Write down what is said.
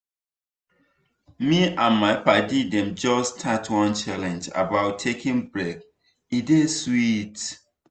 me and my padi dem just start one challenge about taking break e dey sweet!